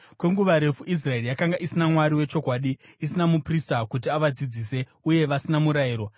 Kwenguva refu Israeri yakanga isina Mwari wechokwadi, isina muprista kuti avadzidzise uye vasina murayiro.